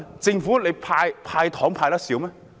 政府"派糖"還派得少嗎？